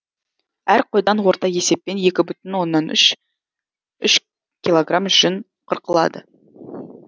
әр қойдан орта есеппен екі бүтін оннан үш үш килограмм жүн қырқылады